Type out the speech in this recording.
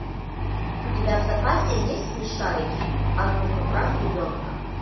у тебя в запасе есть смешарики азбука прав ребенка